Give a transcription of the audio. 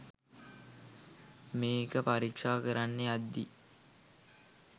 මේක පරීක්ෂා කරන්න යද්දි